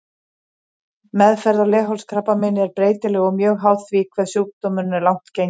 Meðferð á leghálskrabbameini er breytileg og mjög háð því hve sjúkdómurinn er langt genginn.